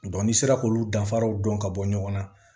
ni sera k'olu danfaraw dɔn ka bɔ ɲɔgɔn na